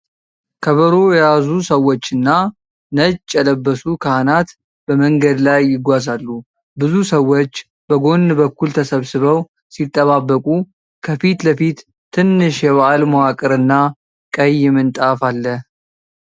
ከበሮ የያዙ ሰዎችና ነጭ የለበሱ ካህናት በመንገድ ላይ ይጓዛሉ። ብዙ ሰዎች በጎን በኩል ተሰብስበው ሲጠባበቁ ከፊት ለፊት ትንሽ የበዓል መዋቅርና ቀይ ምንጣፍ አለ።